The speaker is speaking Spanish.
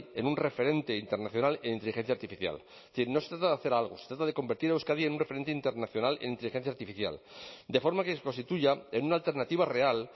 en un referente internacional en inteligencia artificial es decir no se trata de hacer algo se trata de convertir a euskadi en un referente internacional en inteligencia artificial de forma que se constituya en una alternativa real